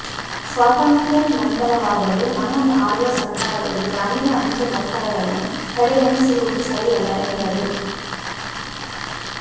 ಸ್ವಾತಂತ್ರ್ಯನಂತರವಾದರೂ ನಮ್ಮನ್ನು ಆಳುವ ಸರ್ಕಾರಗಳು ಗ್ರಾಮೀಣ ಅಂಚೆ ನೌಕರರನ್ನು ಕಡೆಗಣಿಸಿರುವುದು ಸರಿಯಲ್ಲ ಎಂದರು